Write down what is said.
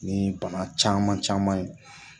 Ni bana caman caman ye